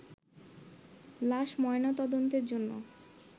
লাশ ময়না তদন্তের জন্য